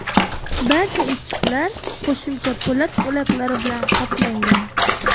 Barcha eshiklar qo‘shimcha po‘lat bo‘laklari bilan qoplangan.